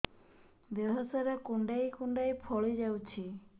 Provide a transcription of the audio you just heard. ଦେହ ସାରା କୁଣ୍ଡାଇ କୁଣ୍ଡାଇ ଫଳି ଯାଉଛି